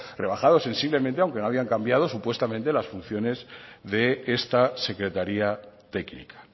rebajado sensiblemente aunque no habían cambiado supuestamente las funciones de esta secretaría técnica